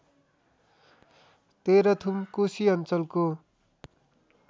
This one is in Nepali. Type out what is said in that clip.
तेह्रथुम कोशी अञ्चलको